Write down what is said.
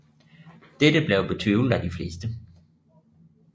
Dette blev betvivlet af de fleste